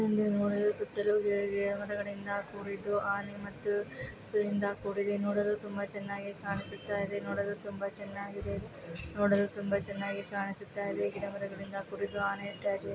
ಇದನ್ನು ನೋಡಲು ಸುತ್ತಲೂ ಗಿಡ ಗಿಡ ಮರಗಳಿಂದಾ ಕೂಡಿದ್ದಾ ಆನೆ ಮತ್ತು ಇಂದ ಕೂಡಿದೆ. ನೋಡಲು ತುಂಬಾ ಚೆನ್ನಾಗಿ ಕಾಣಿಸುತ್ತಯಿದೆ. ನೋಡಲು ತುಂಬಾ ಚೆನ್ನಾಗಿದೆ. ನೋಡಲು ತುಂಬಾ ಚೆನ್ನಾಗಿ ಕಾಣಿಸುತ್ತಯಿದೆ. ಗಿಡ ಮರಗಳಿಂದ ಕೂಡಿದ ಆನೆ --